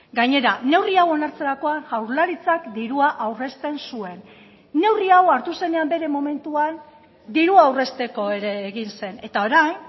gainera neurri hau onartzerakoan jaurlaritzak dirua aurrezten zuen neurri hau hartu zenean bere momentuan dirua aurrezteko ere egin zen eta orain